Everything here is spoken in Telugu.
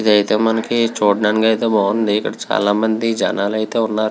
ఇదైతే మనకి చూడ్డానికి అయితే బాగుంది. ఇక్కడ చాలామంది జనాలు అయితే ఉన్నారు.